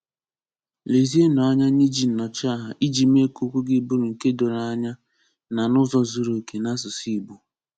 Lezie nụ anya n'iji Nnọchiaha iji mee ka okwu gị bụrụ nke doro anya na n’ụzọ zuru oke na asụsụ Igbo.